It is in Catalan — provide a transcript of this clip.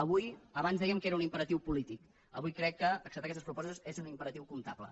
abans dèiem que era un imperatiu polític avui crec que acceptar aquestes propostes és un imperatiu comptable